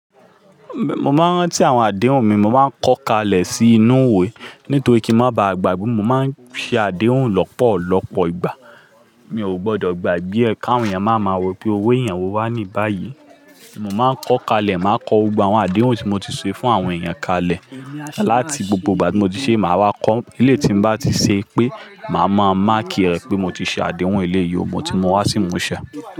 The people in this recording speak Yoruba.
Mo máa ń rántí àwọn àdéhùn mi, mo máa ń kọ́ kalẹ̀ sínú ìwé nítorí kí ń má ba à gbàgbé. Mo máa ń ṣe àdéhùn lọ́pọ̀lọpọ̀ ìgbà. Mi ò gbọdọ̀ gbàgbé ẹ̀ káwọn èèyàn máa ma ro pé owó èèyàn wo wà ní báyìí. Mo máa ń kọ́ kalẹ̀, màá kọ gbogbo àwọn àdéhùn tí mo ti ṣe fún àwọn èèyàn kalẹ̀. Lati gbogbo ìgbà tí mo ti ṣe, màá wá kọ́. Ilé tí n bá ti ṣe pé, màá máa máàkì rẹ̀ pé mo ti ṣe àdéhùn eléyìí, mo ti mú wá sí ìmúṣẹ.